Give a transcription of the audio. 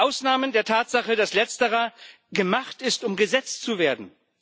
Mit Ausnahme der Tatsache, dass Letzterer gemacht ist, um Gesetz zu werden.